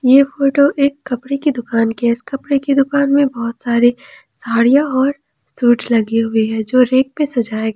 यह फोटो एक कपड़े की दुकान की है इस कपड़े के दुकान में बहुत सारे साड़ियां और सूट्स लगे हुवे हैं जो रैक पे सजाए गए हैं।